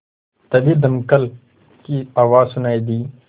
तभी दमकल की आवाज़ सुनाई दी